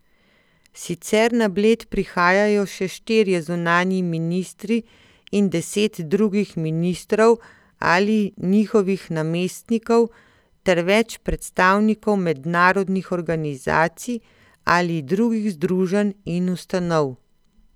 Sicer na Bled prihajajo še štirje zunanji ministri in deset drugih ministrov ali njihovih namestnikov ter več predstavnikov mednarodnih organizacij ali drugih združenj in ustanov.